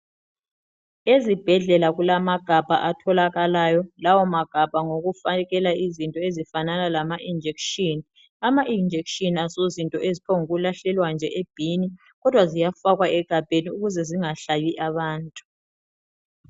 Ezibhedlela kulamagabha atholakalayo lawamagabha ngawokufakela izinto ezifanana lama injection ama-injection asozinto eziphongu lahlela nje e bin, kodwa ziyafakwa egabheni ukuze zingahlabi abantu.